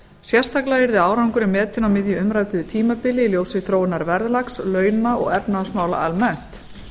sérstaklega yrði árangurinn metinn á á miðju umræddu tímabili í ljósi þróunar verðlags launa og efnahagsmála almennt